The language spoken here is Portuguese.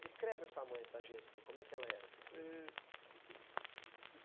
Descreve a sua mãe para a gente, assim, como é que ela era?